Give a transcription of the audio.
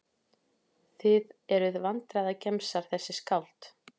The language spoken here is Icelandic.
Þið eruð vandræðagemsar þessi skáld.